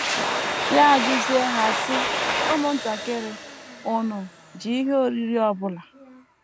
Ya ajụzie ha, sị: “ Ụmụntakịrị, ùnu ji ihe oriri ọ bụla? ”